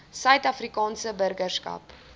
suid afrikaanse burgerskap